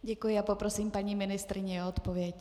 Děkuji a poprosím paní ministryni o odpověď.